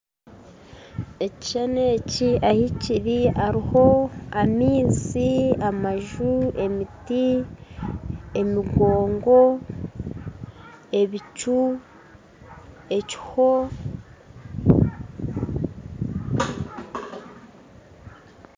Ekishushani eki ahi kiri hariho amaizi, amaju, emiti, emigongo, ebicu, ekiho